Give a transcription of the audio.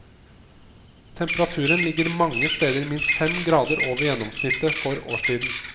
Temperaturen ligger mange steder minst fem grader over gjennomsnittet for årstiden.